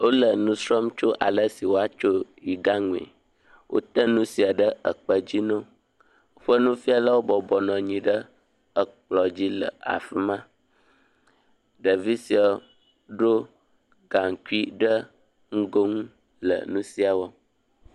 Wole enu srɔm tso alesi woa tso yigã nue, wo te nu sia ɖe ekpe dzi newo, woƒe nufialawo bɔbɔ nɔanyi ɖe ekplɔ̃ dzi le afima, ɖevi siawo ɖo gaŋkui ɖe ŋgo nu le nu sia wɔ